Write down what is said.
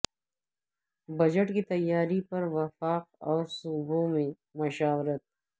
budget کی تیاری پر وفاق اور صوبوں میں مشاورت